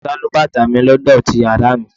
Sálúbàtà mi ló dọ̀tí yàrá mi.